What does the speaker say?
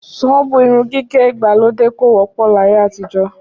Ṣọ́ọ̀bù irun gígẹ̀ ìgbàlódé kò wọ́pọ̀ láyé àtijọ́